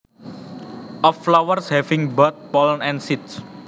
Of flowers having both pollen and seeds